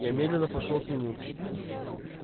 я медленно пошёл к нему